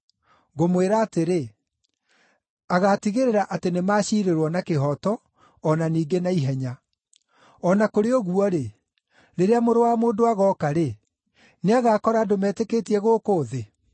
Ngũmwĩra atĩrĩ, agaatigĩrĩra atĩ nĩmaciirĩrwo na kĩhooto, o na ningĩ na ihenya. O na kũrĩ ũguo-rĩ, rĩrĩa Mũrũ wa Mũndũ agooka-rĩ, nĩagakora andũ metĩkĩtie gũkũ thĩ?”